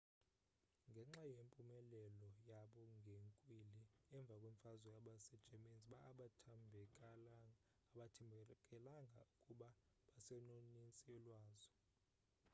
ngenxa yempumelelo yabo ngenkwili emva kwemfazwe abase germans abathembakalanga ukuba basenonintsi lwazo